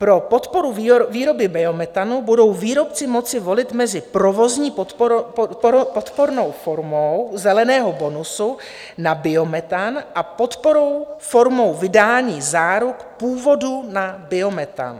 Pro podporu výroby biometanu budou výrobci moci volit mezi provozní podporou formou zeleného bonusu na biometan a podporou formou vydání záruk původu na biometan.